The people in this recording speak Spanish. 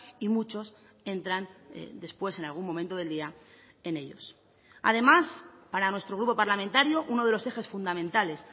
y muchos entran después en algún momento del día en ellos además para nuestro grupo parlamentario uno de los ejes fundamentales